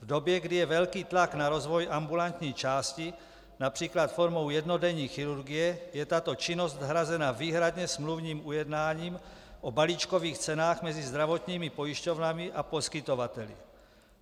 V době, kdy je velký tlak na rozvoj ambulantní části například formou jednodenní chirurgie, je tato činnost nahrazena výhradně smluvním ujednáním o balíčkových cenách mezi zdravotními pojišťovnami a poskytovateli.